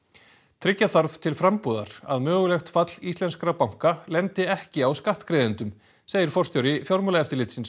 tryggja þarf til frambúðar að mögulegt fall íslenskra banka lendi ekki á skattgreiðendum segir forstjóri Fjármálaeftirlitsins